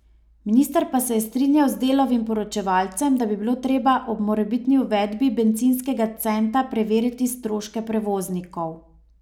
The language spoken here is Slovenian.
Minister pa se je strinjal z Delovim poročevalcem, da bi bilo treba ob morebitni uvedbi bencinskega centa preveriti stroške prevoznikov.